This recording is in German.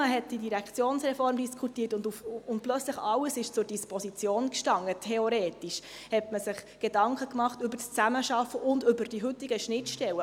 Weil man die Direktionsreform diskutierte und plötzlich alles zur Disposition stand, theoretisch, machte man sich Gedanken über die Zusammenarbeit und über die heutigen Schnittstellen.